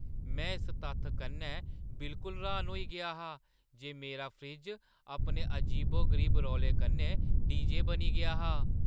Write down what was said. में इस तत्थै कन्नै बिल्कुल र्‌हान होई गेआ हा जे मेरा फ्रिज अपने अजीबो-गरीब रौले कन्नै डीजे बनी गेआ हा!